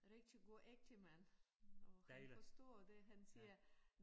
Rigtig god ægtemand og han forstår det han siger